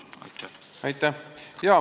Aitäh!